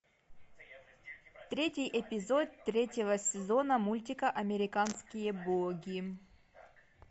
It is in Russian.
третий эпизод третьего сезона мультика американские боги